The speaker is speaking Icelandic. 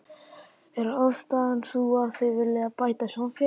Er ástæðan sú að þau vilji bæta samfélagið?